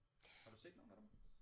Har du set nogle af dem